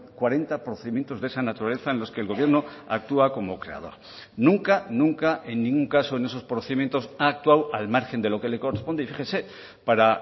cuarenta procedimientos de esa naturaleza en los que el gobierno actúa como creador nunca nunca en ningún caso en esos procedimientos ha actuado al margen de lo que le corresponde y fíjese para